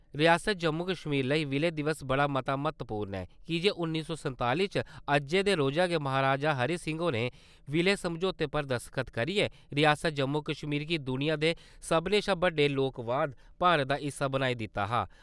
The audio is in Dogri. रिआसत जम्मू-कश्मीर लेई विलय दिवस बड़ा मता म्हत्तवपूर्ण ऐ की जे उन्नी सौ संताली च अज्जै दे रोज गै महाराजा हरि सिंह होरें विलय समझौते पर दस्तख्त करिये रिआसत जम्मू-कश्मीर गी दुनिया दे सब्भनें शा बड्डे लोकवाद-भारत दा हिस्सा बनाई दित्ता हा।